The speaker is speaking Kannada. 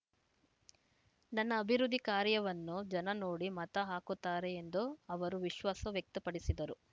ನನ್ನ ಅಭಿವೃದ್ಧಿ ಕಾರ್ಯವನ್ನು ಜನ ನೋಡಿ ಮತ ಹಾಕುತ್ತಾರೆ ಎಂದು ಅವರು ವಿಶ್ವಾಸ ವ್ಯಕ್ತಪಡಿಸಿದರು